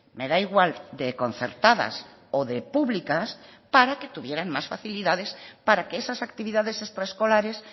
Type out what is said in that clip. me da igual de concertadas o de públicas para que tuvieran más facilidades para que esas actividades extraescolares